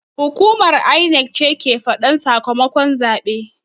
Hukumar INEC ce ke faɗan sakamakon zaɓe